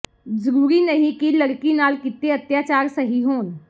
ਜ਼ਰੂਰੀ ਨਹੀਂ ਕਿ ਲੜਕੀ ਨਾਲ ਕੀਤੇ ਅਤਿਆਚਾਰ ਸਹੀ ਹੋਣ